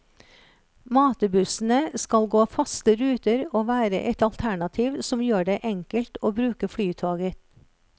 Matebussene skal gå faste ruter og være et alternativ som gjør det enkelt å bruke flytoget.